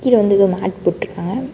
கீழ வந்து எதோ மேட் போட்ருக்காங்க.